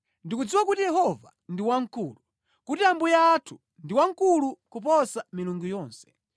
Ndikudziwa kuti Yehova ndi wamkulu, kuti Ambuye athu ndi wamkulu kuposa milungu yonse.